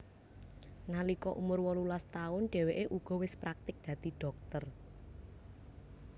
Nalika umur wolulas taun dheweke uga wis praktik dadi dhokter